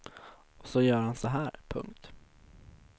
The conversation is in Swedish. Och så gör han så här. punkt